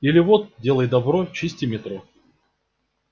или вот делай добро чисти метро